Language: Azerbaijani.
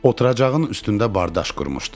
Oturacağın üstündə bardaş qurmuşdu.